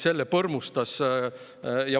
Selle põrmustas …